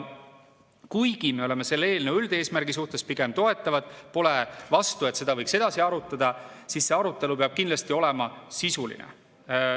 Kuigi me oleme selle eelnõu üldeesmärgi suhtes pigem toetavad, pole vastu, et seda võiks edasi arutada, siis see arutelu peab kindlasti olema sisuline.